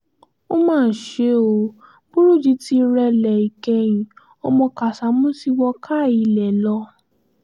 ó mà ṣe o burújí ti rẹlẹ̀ ìkẹyìn ọmọ kásámù ti wọ káà ilé lọ